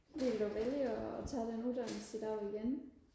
ville du vælge og tage den uddannelse i dag igen